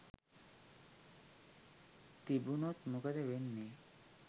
තිබුණොත් මොකද වෙන්නේ